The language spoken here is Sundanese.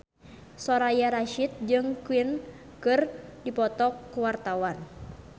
Soraya Rasyid jeung Queen keur dipoto ku wartawan